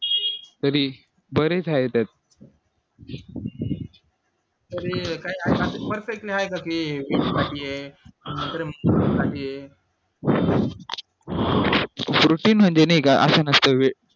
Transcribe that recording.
तरी बरेच आहेत त्यात प्रोटीन म्हणजे नाय का असं नसतं